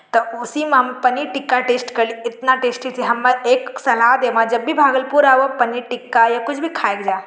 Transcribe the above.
तपुसी म हम पनीर टिक्का टेस्ट कर ली इतना टेस्ट की हम एक सलाह देम जब भी भागलपुर आव तभी पनीर टिक्का या कुछ भी खाय के जा।